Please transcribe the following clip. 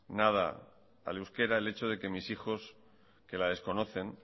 nada al euskera el hecho de que mis hijos que la desconocen